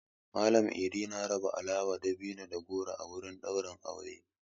Mallam I'di na raba alawa, dabino da goro a wurin ɗaurin aure.